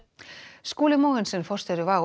Skúli Mogensen forstjóri WOW